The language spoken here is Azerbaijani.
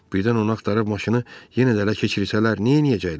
Birdən onu axtarıb maşını yenə də ələ keçirsələr, neynəyəcəklər?